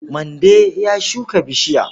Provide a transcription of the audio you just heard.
Mande ya shuka bishiya.